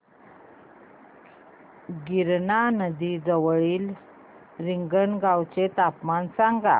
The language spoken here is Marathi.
गिरणा नदी जवळील रिंगणगावाचे तापमान सांगा